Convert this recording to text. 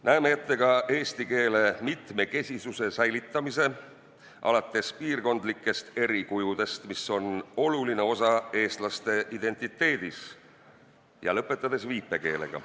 Näeme ette ka eesti keele mitmekesisuse säilitamise alates piirkondlikest erikujudest, millel on oluline osa eestlaste identiteedis, ja lõpetades viipekeelega.